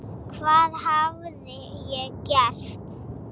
Hvað hafði ég gert?